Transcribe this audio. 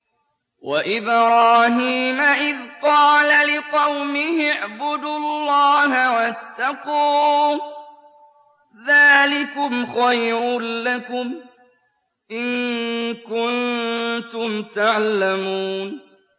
وَإِبْرَاهِيمَ إِذْ قَالَ لِقَوْمِهِ اعْبُدُوا اللَّهَ وَاتَّقُوهُ ۖ ذَٰلِكُمْ خَيْرٌ لَّكُمْ إِن كُنتُمْ تَعْلَمُونَ